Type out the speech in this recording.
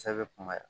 Sa bɛ kunbaya